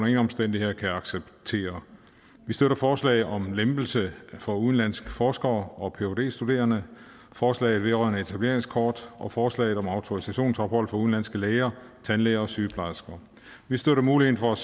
ingen omstændigheder kan acceptere vi støtter forslaget om en lempelse for udenlandske forskere og phd studerende forslaget vedrørende etableringskort og forslaget om autorisationsophold for udenlandske læger tandlæger og sygeplejersker vi støtter muligheden for at